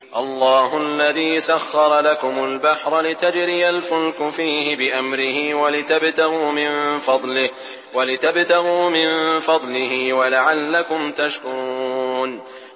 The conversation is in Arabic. ۞ اللَّهُ الَّذِي سَخَّرَ لَكُمُ الْبَحْرَ لِتَجْرِيَ الْفُلْكُ فِيهِ بِأَمْرِهِ وَلِتَبْتَغُوا مِن فَضْلِهِ وَلَعَلَّكُمْ تَشْكُرُونَ